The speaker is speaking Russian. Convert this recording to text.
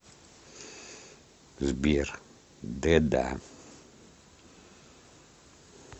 сбер д да